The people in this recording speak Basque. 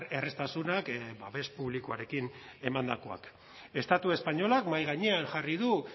erraztasunak babes publikoarekin emandakoak estatu espainolak mahai gainean jarri du